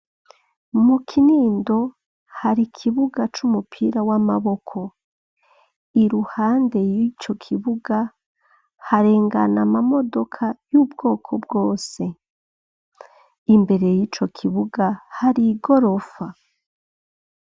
Mu Kinindo, hari ikibuga c'umupira w'amaboko, iruhande y'ico kibuga, harengana amamodoka, y'ubwoko bwose; imbere y'ico kibuga, hari igorofa.